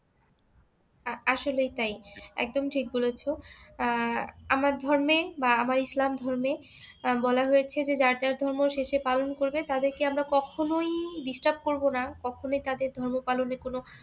আসলেই তাই। একদম ঠিক বলেছো। আহ আমার ধর্মে বা আমার ইসলাম ধর্মে বলা হয়েছে যে যার যার ধর্ম সে সে পালন করবে, তাদেরকে আমরা কখনোই disturb করব না কখনো তাদের ধর্ম পালনে কোনো